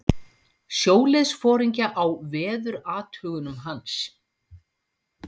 sjóliðsforingja á veðurathugunum hans.